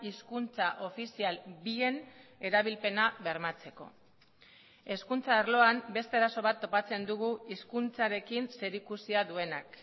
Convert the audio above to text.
hizkuntza ofizial bien erabilpena bermatzeko hezkuntza arloan beste arazo bat topatzen dugu hizkuntzarekin zerikusia duenak